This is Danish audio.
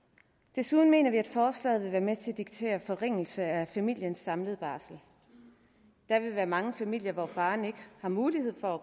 desuden mener vi at forslaget vil være med til at diktere en forringelse af familiens samlede barsel der vil være mange familier hvor faren ikke har mulighed for at